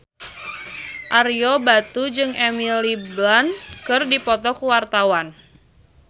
Ario Batu jeung Emily Blunt keur dipoto ku wartawan